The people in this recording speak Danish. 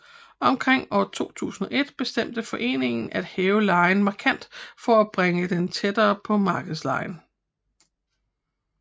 Omkring år 2001 bestemte foreningen at hæve lejen markant for at bringe den tættere til markedslejen